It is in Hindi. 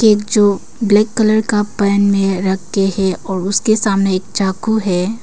एक जो ब्लैक कलर का पैन में रखे हैं और उसके सामने एक चाकू है।